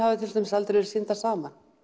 aldrei vera sýndar saman